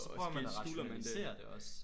Og så prøver man at rationalisere det også